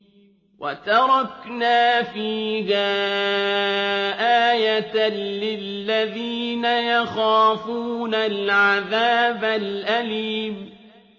وَتَرَكْنَا فِيهَا آيَةً لِّلَّذِينَ يَخَافُونَ الْعَذَابَ الْأَلِيمَ